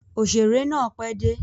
Òṣèrè náà pẹ́ dé.